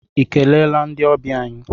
I keleela ndị ọbịa anyị?